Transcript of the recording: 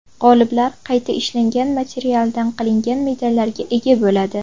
G‘oliblar qayta ishlangan materialdan qilingan medallarga ega bo‘ladi.